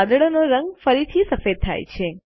વાદળનો રંગ ફરીથી સફેદ થાય છે